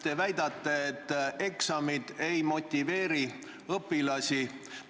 Te väidate, et eksamid ei motiveeri õpilasi.